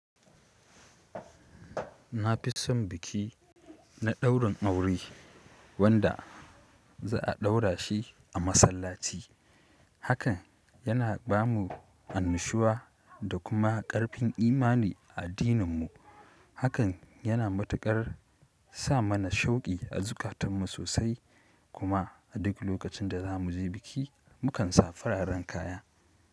Na fi son biki na daurin aure wanda za a daura shi a masallaci. Hakan yana ba mu annushuwa da kuma ƙarfin imani a addininmu. Hakan yana matuƙar sa mana shauki a zukatanmu sosai kuma a duk lokacin da za mu je biki mu kansa fararen kaya.